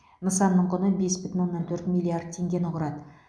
нысанның құны бес бүтін оннан төрт миллиард теңгені құрады